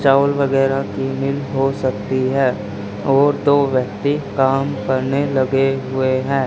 चावल वगैरह की मिल हो सकती है और दो व्यक्ति काम करने लगे हुए हैं।